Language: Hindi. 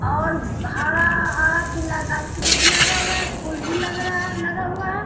और हरा-हरा पीला गाक्षी-वृक्ष लगा हुआ है फूल भी लग रहा है लगा हुआ है।